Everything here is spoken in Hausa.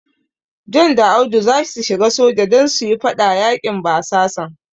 John da Audu zasu shiga soja don su yi fada yaƙin basasan.